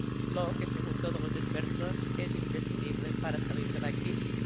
lo que, según todos los expertos, es imprescindible para salir de la crisis.